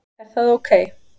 Er það ok?